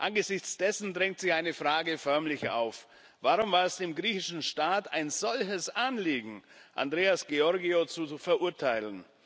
Angesichts dessen drängt sich eine Frage förmlich auf Warum war es dem griechischen Staat ein solches Anliegen, Andreas Georgiou zu verurteilen?